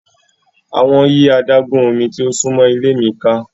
Awọn yi adagun omi ti o sunmọ ile mi ka.